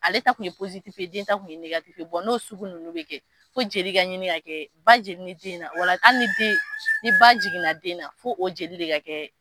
Ale ta kun ye den ta kun ye n'o sugu ninnu bɛ kɛ, fo jeli ka ɲini ka kɛ, ba jeli ni den na, wala hali ni den, ni ba jiginna den na, fo o jeli de ka kɛ